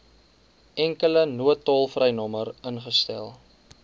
enkele noodtolvrynommer ingestel